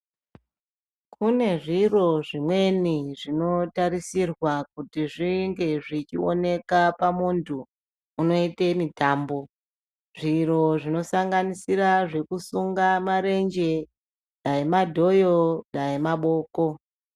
Kune zviro zvimweni zvinotarisirwa kuti zvinge zvichioneka pamuntu unoite mítàmbo zviro zvinosanganisira zvekusunga marenje dai madhoyo dai maboko.